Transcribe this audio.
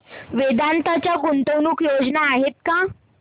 वेदांत च्या गुंतवणूक योजना आहेत का